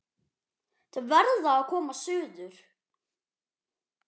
Þau verða að koma suður!